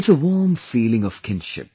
It's a warm feeling of kinship